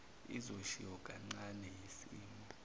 izoshiwo kancane yisimo